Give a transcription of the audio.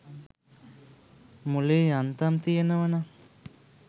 මොලේ යන්තම් තියෙනවා නම්